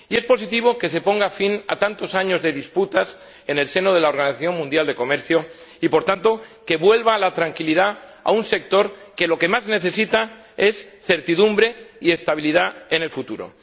Es positivo que se ponga fin a tantos años de disputas en el seno de la Organización Mundial del Comercio y, por tanto, que vuelva la tranquilidad a un sector que lo que más necesita es certidumbre y estabilidad en el futuro.